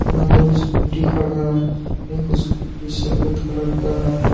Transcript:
यहां दो स्कूटी खड़ा है एक स्कूटी सफेद कलर का है।